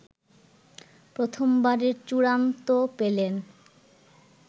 প্রথমবারের চূড়ান্ত পেলেন